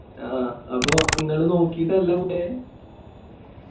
ആ അപ്പൊ ഇങ്ങള് നോക്കിട്ടല്ല പോയെ